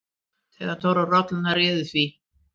THEODÓRA: Rollurnar réðu því.